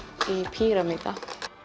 píramída